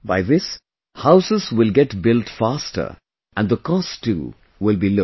By this, houses will get built faster and the cost too will be low